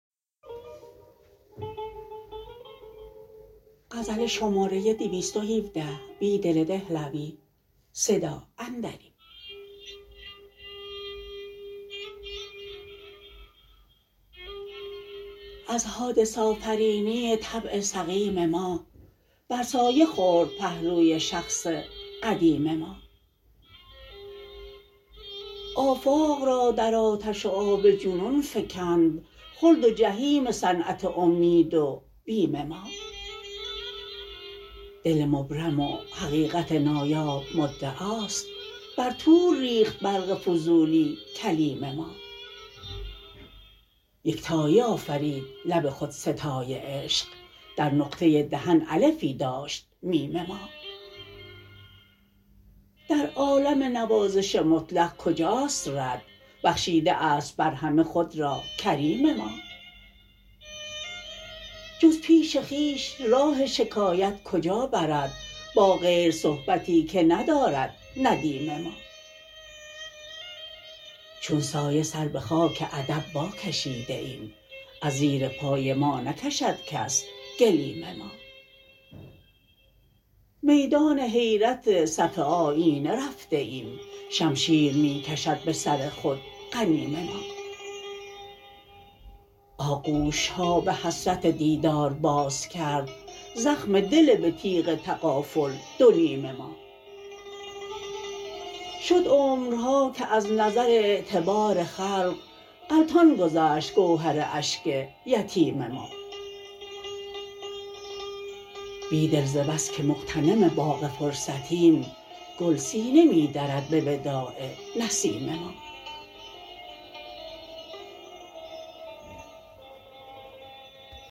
از حادث آفرینی طبع سقیم ما بر سایه خورد پهلوی شخص قدیم ما آفاق را در آتش وآب جنون فکند خلد وجحیم صنعت امید وبیم ما دل مبرم و حقیقت نایاب مدعاست برطورریخت برق فضولی کلیم ما یکتایی آفرید لب خودستای عشق در نقطه دهن الفی داشت میم ما در عالم نوازش مطلق کجاست رد بخشیده است بر همه خود راکریم ما جز پیش خویش راه شکایت کجا برد با غیر صحبتی که ندارد ندیم ما چون سایه سر به خاک ادب واکشیده ایم از زیر پای ما نکشدکس گلیم ما میدان حیرت صف آیینه رفته ایم شمشیرمی کشد به سرخود غنیم ما آغوشها به حسرت دیدار بازکرد زخم دل به تیغ تغافل دو نیم ما شد عمرهاکه از نظر اعتبار خلق غلتان گذشت گوهر اشک یتیم ما بیدل زبس که مغتنم باغ فرصتیم گل سینه می درد به وداع نسیم ما